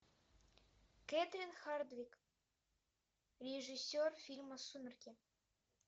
кэтрин хардвик режиссер фильма сумерки